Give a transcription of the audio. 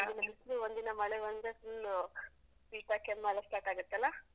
ಒಂದ್ ದಿನ ಬಿಸ್ಲು, ಒಂದ್ ದಿನ ಮಳೆ ಬಂದ್ರೇ full ಶೀತ ಕೆಮ್ಮುಯೆಲ್ಲ start ಗತ್ತಲ್ಲಾ?